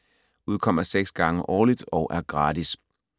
Udkommer 6 gange årligt og er gratis.